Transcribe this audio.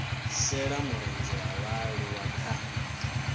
shela mulenzhe ha vhaaluwa kha